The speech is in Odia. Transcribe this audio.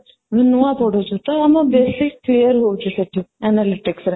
ନୂଆ ପଢ଼ୁଛୁ ତ ଆମ basic clear ହଉଚି ସେଠି analytic ରେ